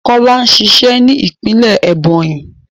Kọlá ń ṣiṣẹ́ ní ìpínlẹ̀ Ẹ̀bònyì